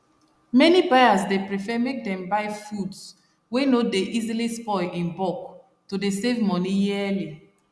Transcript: many buyers dey prefer make them buy foods wey no dey easily spoil in bulk to dey save money yearly